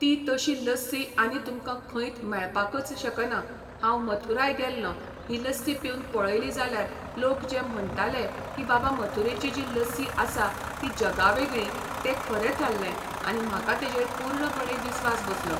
ती तशी लस्सी आनी तुमकां खंयत मेळपाकच शकना हांव मथुराय गेल्लों ही लस्सी पिवन पळयली जाल्यार लोक जे म्हणटालें की बाबा मथुरेची जी लस्सी आसा ती जगावेगळी तें खरें थारलें आनी म्हाका तेजेर पुर्णपणे विस्वास बसलो